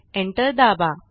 enter दाबा